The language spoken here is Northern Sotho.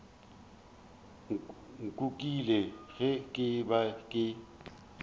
nkukile ge ke be ke